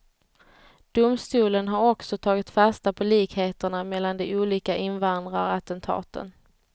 Domstolen har också tagit fasta på likheterna mellan de olika invandrarattentaten.